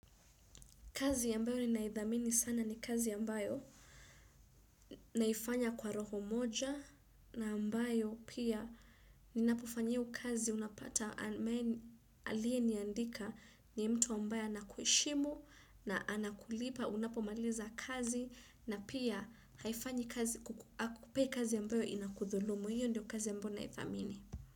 Kazi ambayo ninaithamini sana, ni kazi ambayo naifanya kwa roho moja na ambayo pia ninapofanya iyo kazi unapata aliye niandika ni mtu ambaye anakuheshimu na anakulipa unapomaliza kazi, na pia haifanyi kazi, hakupi kazi ambayo inakudhulumu, hiyo ndio kazi ya mbona naidhamini.